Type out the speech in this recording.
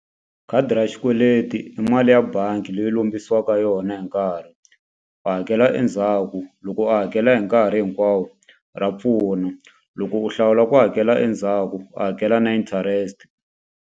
Khadi ra xikweleti i mali ya bangi leyi u lombisiwaka yona hi nkarhi u hakela endzhaku loko u hakela hi nkarhi hinkwawo ra pfuna loko u hlawula ku hakela endzhaku u hakela na interest.